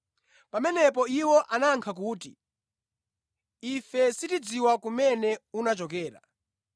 Pamenepo iwo anayankha kuti, “Ife sitidziwa kumene unachokera.”